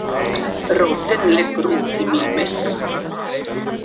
Rótin liggur út í Mímis.